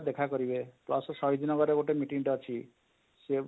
ଦେଖା କରିବେ pulse ସହିତ ନଗର ରେ ଗୋଟେ meeting ଟେ ଅଛି ସେ